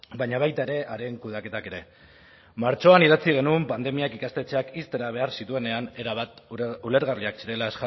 baina baita ere haren kudeaketak ere martxoan idatzi genuen pandemiak ikastetxeak ixtera behar zituenean erabat ulergarriak zirela